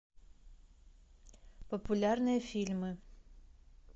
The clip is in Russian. популярные фильмы